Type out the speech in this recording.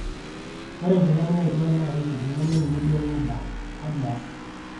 ore enkila niyautua naa keikiti nemeninye duo ai oda, kaji aas